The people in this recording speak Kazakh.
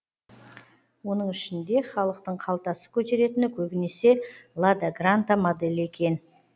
оның ішінде халықтың қалтасы көтеретіні көбінесе лада гранта моделі екен